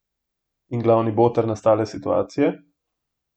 In glavni boter nastale situacije?